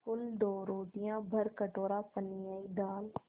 कुल दो रोटियाँ भरकटोरा पनियाई दाल